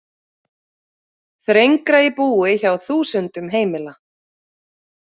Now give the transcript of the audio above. Þrengra í búi hjá þúsundum heimila